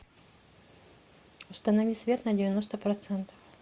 установи свет на девяносто процентов